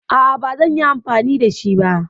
Aa bazanyi amfani shi ba